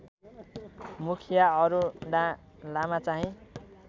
Mukhiya Aruna लामाचाहिँ